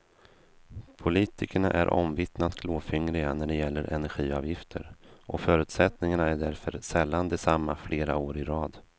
Politikerna är omvittnat klåfingriga när det gäller energiavgifter och förutsättningarna är därför sällan desamma flera år i råd.